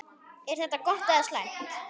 Er þetta gott eða slæmt?